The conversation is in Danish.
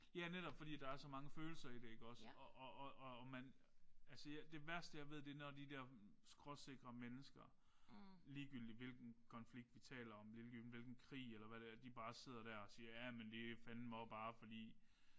Ja netop fordi at der er så mange følelser i det iggås og og og og man altså jeg det værste jeg ved det er når de der skråsikre mennesker ligegyldigt hvilken konflikt vi taler om hvilke hvilken krig eller hvad det er de bare sidder der jamen det er fandeme også bare fordi